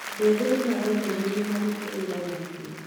Andũ ethĩ nĩmaromĩrĩrio marute wĩra na kĩo